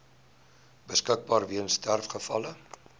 beskikbaar weens sterfgevalle